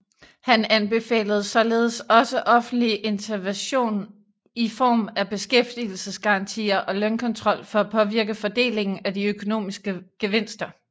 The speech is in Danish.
Han anbefalede således også offentlig intervention i form af beskæftigelsesgarantier og lønkontrol for at påvirke fordelingen af de økonomiske gevinster